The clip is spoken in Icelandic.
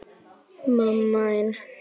Hvað heitir þessi bær?